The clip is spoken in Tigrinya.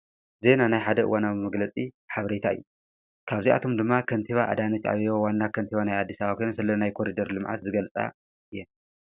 ዜና ናይ ሓደእዋናዊ መግለጺ ሓብሬታ እዩ ካብዚኣቶም ድማ ኸንቲባ ኣዳንት ኣብቦ ዋና ከንቲባ ናይ ኣዲሳባኴኑ ስለናይ ኮሪደር ልመዓት ዝገልጻ እየን።